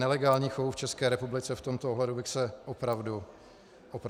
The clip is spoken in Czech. Nelegálních chovů v České republice v tomto ohledu bych se opravdu nebál.